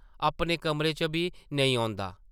अपने कमरे च बी नेईं औंदा ।